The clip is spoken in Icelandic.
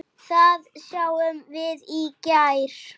Það sáum við í gær.